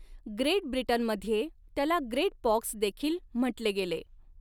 Great ब्रिटनमध्ये, त्याला 'great पॉक्स'देखील म्हटले गेले.